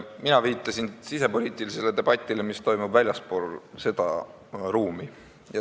Mina viitasin sisepoliitilisele debatile, mis toimub väljaspool seda ruumi.